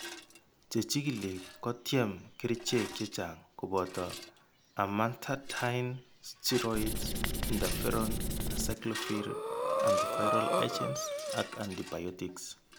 Che chigili ko kotyem kerchek chechang', koboto amantadine, steroids, interferon, acyclovir, antiviral agents ak antibiotics.